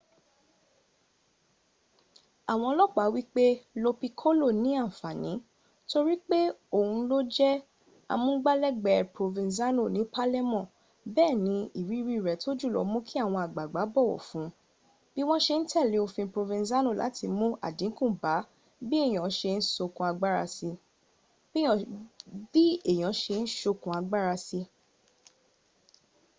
àwọn olopa wípé lo piccolo ní ànfàní torípé òhun ló jẹ́ amúngbálẹ́gbẹ̀ẹ́ provenzano ni palermo béèni iriri rẹ̀ tó jùlọ múu kí àwọn àgbààgbà bọ̀wọ̀ fun bí wọn ṣe n tẹ́lẹ̀ òfin provenzano láti mún àdínkù bá bí èèyàn ṣe ń sokùn agbára sí